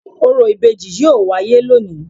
Orò ibeji yoo waye loni